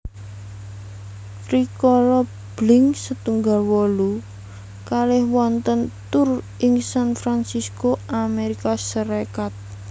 Rikala Blink setunggal wolu kalih wontèn tur ing San Fransisco Amérika Sarékat